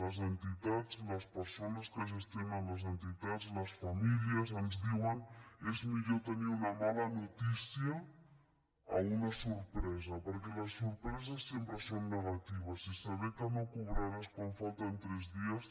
les entitats les persones que gestionen les entitats les famílies ens diuen és millor tenir una mala notícia que una sorpresa perquè les sorpreses sempre són negatives i saber que no cobraràs quan falten tres dies